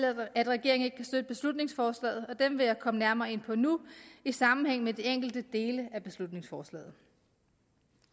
at regeringen ikke kan støtte beslutningsforslaget og dem vil jeg komme nærmere ind på nu i sammenhæng med de enkelte dele af beslutningsforslaget